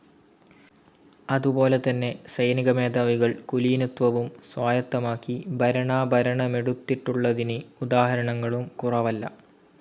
അതുപോലെതന്നെ സൈനികമേധാവികൾ കുലീനത്വവും സ്വായത്തമാക്കി ഭരണാഭരണമെടുത്തിട്ടുളളതിന് ഉദാഹരണങ്ങളും കുറവല്ല.